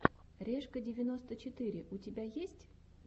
решка девяносто четыре у тебя есть